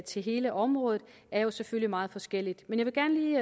til hele området er jo selvfølgelig meget forskellige men